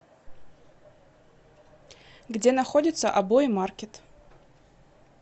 где находится обои маркет